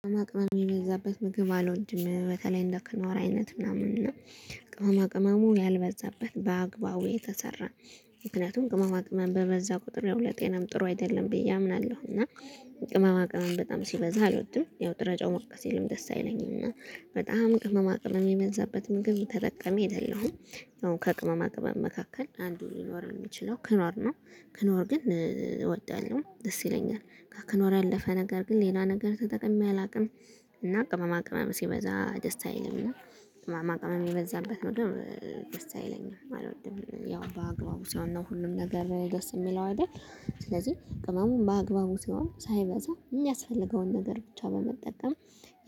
ቅመማ ቅመም የሚበዛበት ምግብ አልወድም በተለይ እንደ ክኖር አይነት ምናምን እና ቅመማ ቅመሙ ያልበዛበት በአግባቡ የተሰራ ምክንያቱም ቅመማ ቅመም በበዛ ቁጥር ያው ለጤናም ጥሩ አይደለም ብዬ አምናለሁ። እና ቅመማ ቅመም በጣም ሲበዛ አልወድም ያው ጥረጫው ሞቅ ሲልም ደስ አይለኝም እና በጣም ቅመማ ቅመም የሚበዛበት ምግብ ተጠቃሚ አይደለሁም። ያው ከቅመማ ቅመም መካከል አንዱ ሊኖር የሚችለው ክኖር ነው። ክኖር ግን እወዳለሁ ደስ ይለኛል ከክኖር ያለፈ ነገር ግን ሌላ ነገር ተጠቅሜ አላውቅም። እና ቅመማ ቅመማ ሲበዛ ደስ አይልም እና ቅመማ ቅመማ የበዛበት ምግብ ደስ አይለኝም አልወድም። ያው በአግባቡ ሲሆን ነው ሁሉም ነገር ደስ የሚለው አይደል። ስለዚህ ቅመሙን በአግባቡ ሲሆን ሳይበዛ የሚያስፈልገውን ነገር ብቻ በመጠቀም